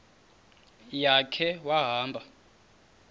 ya khe wahamba